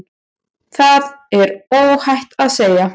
Það er óhætt að segja.